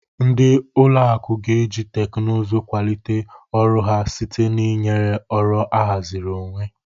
Ndị ụlọ akụ ga-eji teknụzụ kwalite ọrụ ha site na ịnye ọrụ ahaziri onwe.